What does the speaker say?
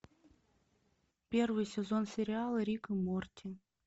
первый сезон сериала рик и морти